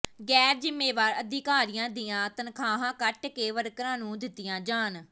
ਗ਼ੈਰ ਜ਼ਿੰਮੇਵਾਰ ਅਧਿਕਾਰੀਆਂ ਦੀਆਂ ਤਨਖ਼ਾਹਾਂ ਕੱਟ ਕੇ ਵਰਕਰਾਂ ਨੂੰ ਦਿੱਤੀਆਂ ਜਾਣ